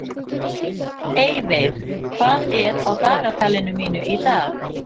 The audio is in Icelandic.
Eyveig, hvað er á dagatalinu mínu í dag?